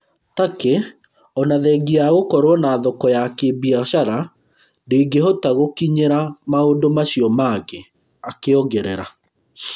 Turkey ona thengia wa gũkorwo na thoko ya kĩ-biacara ndĩngĩhota gũkinyĩra maũndũ macio mangĩ’’ akĩongerera